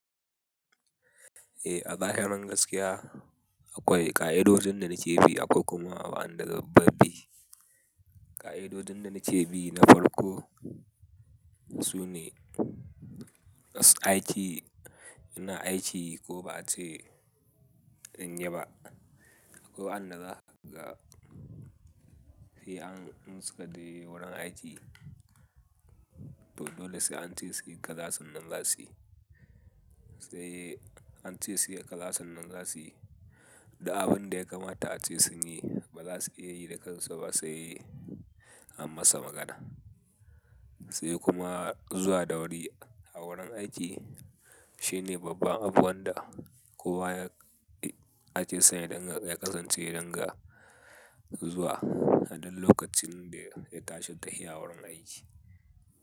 Eh a zahirin gaskiya akwai ƙa'idodin da na ce bi akwai kuma wa'andazambabbi. Ƙa'idodin da na ce bi na farko sune, aiki ina aiki ko ba'a ce in yi ba, akwai wa'anda zaga ka, he an in sukade wurin aiki. To dole sai ance su yi kaza sannan zasuy. Sai an ce su yi kaza sannan zasuyi da abin da ya kamata a ce sun yi ba za su iya yi da kansu ba sai an masa magana. Sai kuma zuwa da wuri a wurin aiki shine babban abu wanda kowa ya ake san yadinga ya kasyaance ringa zuwa aduk lokacin da ya tashi tahi ya wurin aiki.